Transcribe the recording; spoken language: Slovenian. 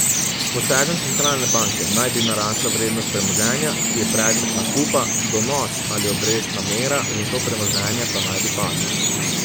S posegom centralne banke naj bi narasla vrednost premoženja, ki je predmet nakupa, donos ali obrestna mera za to premoženje pa naj bi padla.